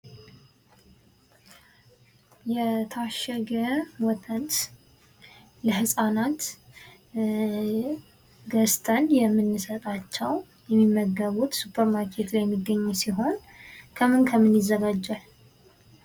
የታሸገ ወተት ለህፃናት ገዝተን የምንሰጣቸው የሚመገቡት ሱፐርማርኬት ላይ የሚገኝ ሲሆን ከምን ከምን ይዘጋጃል?